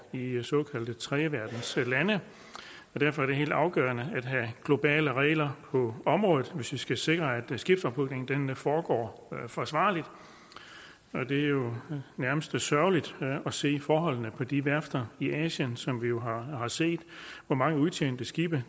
i i såkaldte tredjeverdenslande og derfor er det helt afgørende at have globale regler på området hvis vi skal sikre at skibsophugningen foregår forsvarligt det er jo nærmest sørgeligt at se forholdene på de værfter i asien som vi jo har set hvor mange udtjente skibe